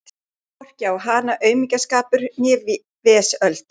Fékk hvorki á hana aumingjaskapur né vesöld.